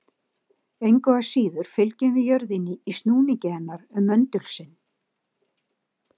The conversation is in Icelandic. Engu að síður fylgjum við jörðinni í snúningi hennar um möndul sinn.